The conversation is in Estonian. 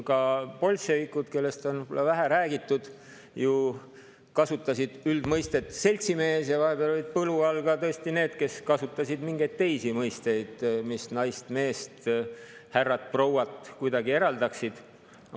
Ka bolševikud, kellest on võib-olla vähe räägitud, ju kasutasid üldmõistet "seltsimees" ja vahepeal olid põlu all tõesti ka need, kes kasutasid mingeid teisi mõisteid, mis naist ja meest, härrat ja prouat kuidagi eraldaksid.